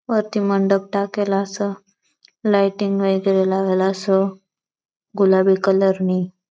अती मंडप ताकेला छ लाइटिंग वगेर लागेला स गुलाबी कलर नी.